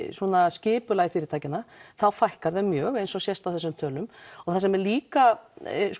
skipulagi fyrirtækjanna þá fækkar þeim mjög eins og sést á þessum tölum það sem er líka